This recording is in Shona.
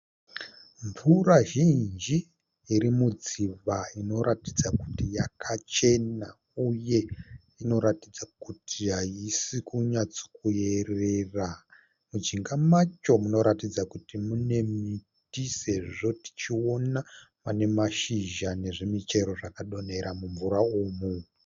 Mvura zhinji iri mudziva inoratidza kuti yakachena uye inoratidza kuti haisi kunyatso kuyerera. Mujinga macho munoratidza kuti mune miti sezvo tichiona pane mashizha nezvimichero zvakadonhera mumvura umu.